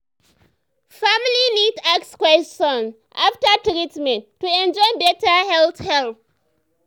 family need ask question after treatment to enjoy better health help.